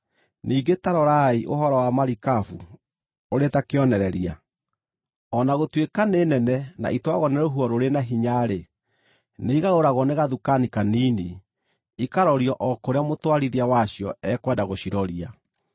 Ningĩ ta rorai ũhoro wa marikabu ũrĩ ta kĩonereria. O na gũtuĩka nĩ nene na itwaragwo nĩ rũhuho rũrĩ na hinya-rĩ, nĩigarũragwo na gathukani kanini, ikarorio o kũrĩa mũtwarithia wacio ekwenda gũciroria.